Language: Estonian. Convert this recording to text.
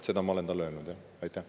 Seda ma olen talle öelnud, jah.